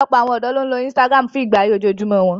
Ọ̀pọ̀lọpọ̀ àwọn ọ̀dọ́ ló ń lo Instagram fún ìgbé ayé ojoojúmọ́ wọn